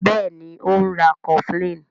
Béèni o ń rá cofflin.